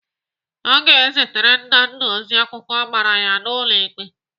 Aga ezitere Nnanna ozi akwụkwọ agbara ya n'ụlọ ikpe.